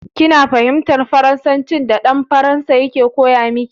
Kina fahimtar Faransancin da dan Faransan yake koya miki?